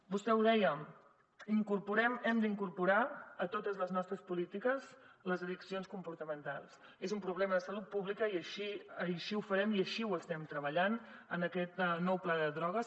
vostè ho deia incorporem hem d’incorporar a totes les nostres polítiques les addiccions comportamentals és un problema de salut pública i així ho farem i així ho estem treballant en aquest nou pla de drogues